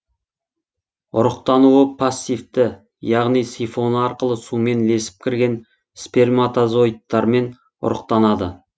ұрықтануы пассивті яғни сифоны арқылы сумен ілесіп кірген сперматозоидтармен ұрықтанады